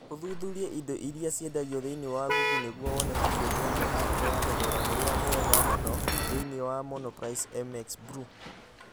ũthuthurie indo iria ciendagio thĩinĩ wa google nĩguo wone keyboard ya mecanical ya thogora ũrĩa mwega mũno thĩinĩ wa monoprice mxblue